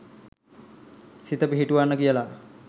සිත පිහිටුවන්න කියලා